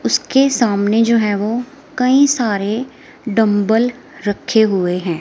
उसके सामने जो है वो कई सारे डंबल रखे हुए हैं।